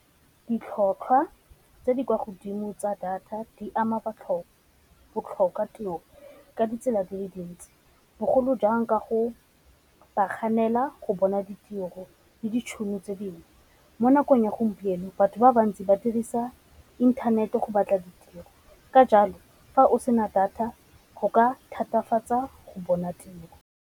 Ditlhotlhwa tse di kwa godimo tsa data di ama bo tlhoka tiro ka ditsela di le dintsi, bogolo jang ka go ba kganela go bona ditiro le ditšhono tse dingwe. Mo nakong ya gompieno batho ba bantsi ba dirisa inthanete go batla ditiro, ka jalo fa o sena data go ka thatafatsa go bona tiro.